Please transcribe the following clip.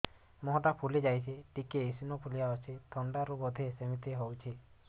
ମୁହଁ ଟା ଫୁଲି ଯାଉଛି ଟିକେ ଏଓସିନୋଫିଲିଆ ଅଛି ଥଣ୍ଡା ରୁ ବଧେ ସିମିତି ହଉଚି